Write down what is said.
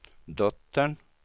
dottern